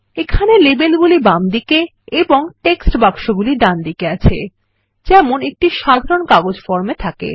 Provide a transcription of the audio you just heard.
এখানে লেবেলগুলি বামদিকে এবং টেক্সট বাক্সগুলি ডানদিকে আছে যেমন একটি সাধারণ কাগজ ফর্মে থাকে